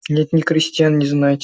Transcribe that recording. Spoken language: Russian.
нет ни крестьян ни знати